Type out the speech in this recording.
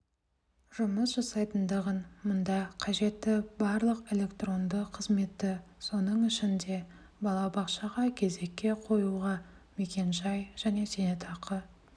жұмыс жасайтындығын мұнда қажетті барлық электронды қызметті соның ішінде балабақшаға кезекке қоюға мекенжай және зейнетақы